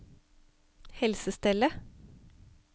helsestellet